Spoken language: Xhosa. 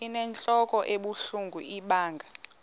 inentlok ebuhlungu ibanga